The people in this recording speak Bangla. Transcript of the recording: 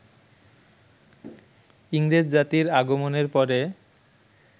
ইংরেজ জাতির আগমনের পরে